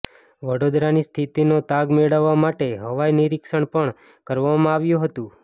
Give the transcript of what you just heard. વડોદરાની સ્થિતિનો તાગ મેળવવા માટે હવાઈ નિરીક્ષણ પણ કરવામાં આવ્યું હતું